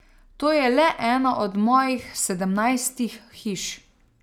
To je le ena od mojih sedemnajstih hiš.